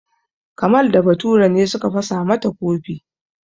Kamal da Bature ne suka fasa mata kofi.